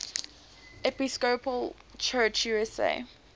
episcopal church usa